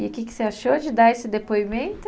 E o que você achou de dar esse depoimento?